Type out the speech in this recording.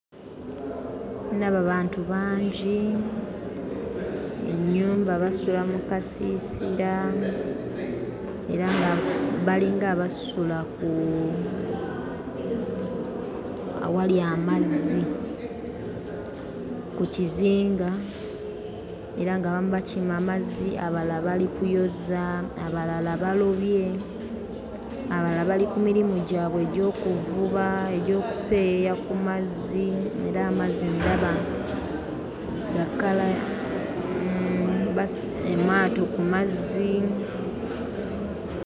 Ndaba bantu bangi, ennyumba basula mu kasiisira era nga balinga abasula ku awali amazzi ku kizinga, era ng'abamu bakima mazzi, abalala bali kuyoza, abalala balobye, abalala bali ku mirimu gyabwe egy'okuvuba, egy'okuseeyeeya ku mazzi era amazzi ndaba ga kkala amaato ku mazzi.